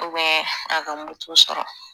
a ka moto sɔrɔ